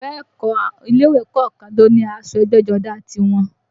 Bẹ́ẹ̀ kọ́, ilé ìwé kọ̀ọ̀kan ló ní aṣọ ẹgbẹ́jọdá a tiwọn